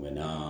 Bɛ na